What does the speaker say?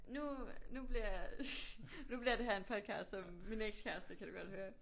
Nu nu bliver nu bliver det her en podcast om min ekskæreste kan du godt høre